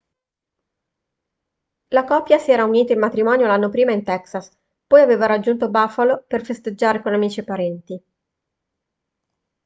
la coppia si era unita in matrimonio l'anno prima in texas poi aveva raggiunto buffalo per festeggiare con amici e parenti